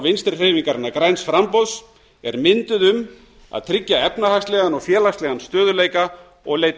vinstri hreyfingarinnar græns framboðs er mynduð um að tryggja efnahagslegan og félagslegan stöðugleika og leita